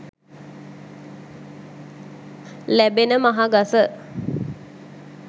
ලැබෙන මහ ගස